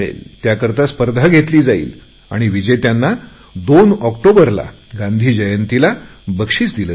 त्यासाठी स्पर्धा होईल आणि विजेत्यांना 2 ऑक्टोबर गांधी जयंतीला बक्षीस दिले जाईल